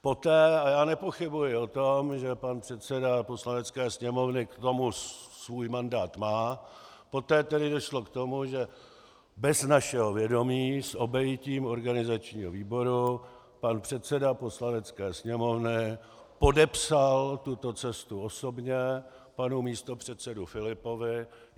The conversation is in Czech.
Poté, a já nepochybuji o tom, že pan předseda Poslanecké sněmovny k tomu svůj mandát má, poté tedy došlo k tomu, že bez našeho vědomí, s obejitím organizačního výboru, pan předseda Poslanecké sněmovny podepsal tuto cestu osobně panu místopředsedovi Filipovi.